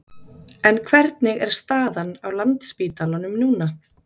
En hvernig er staðan á Landspítalanum núna?